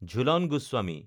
Jhulan Goswami